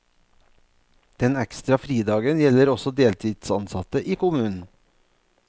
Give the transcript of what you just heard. Den ekstra fridagen gjelder også deltidsansatte i kommunen.